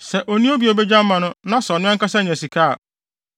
Sɛ onni obi a obegye ama no na sɛ ɔno ankasa nya sika a,